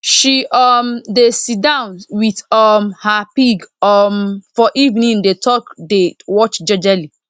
she um dey si down with um her pig um for evening dey talk dey watch jejely